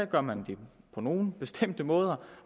gør man det på nogle bestemte måder